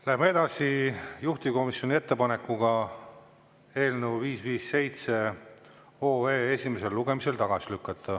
Läheme edasi juhtivkomisjoni ettepanekuga eelnõu 557 esimesel lugemisel tagasi lükata.